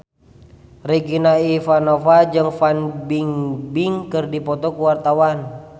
Regina Ivanova jeung Fan Bingbing keur dipoto ku wartawan